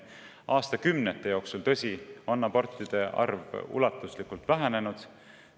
Aastakümnete jooksul, tõsi, on abortide arv ulatuslikult vähenenud.